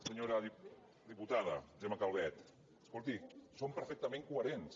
senyora diputada gemma calvet escolti som perfectament coherents